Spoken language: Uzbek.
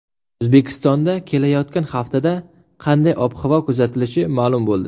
O‘zbekistonda kelayotgan haftada qanday ob-havo kuzatilishi ma’lum bo‘ldi.